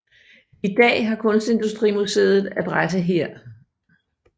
I dag har Kunstindustrimuseet adresse her